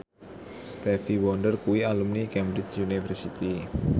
Stevie Wonder kuwi alumni Cambridge University